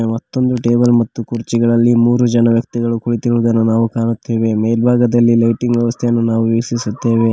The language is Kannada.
ಮತ್ತೊಂದು ಟೇಬಲ್ ಮತ್ತು ಕುರ್ಚಿಗಳಲ್ಲಿ ಮೂರು ಜನ ವ್ಯಕ್ತಿಗಳು ಕುಳಿತಿರುವುದನ್ನು ನಾವು ಕಾಣುತ್ತೇವೆ ಮೇಲ್ಭಾಗದಲ್ಲಿ ಲೈಟಿಂಗ್ ವ್ಯವಸ್ಥೆಯನ್ನು ನಾವು ವೀಕ್ಷಿಸುತ್ತೇವೆ.